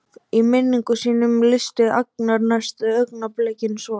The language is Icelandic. Í minningum sínum lýsti Agnar næstu augnablikum svo